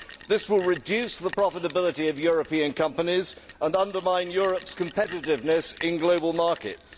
This will reduce the profitability of European companies and undermine Europe's competitiveness in global markets.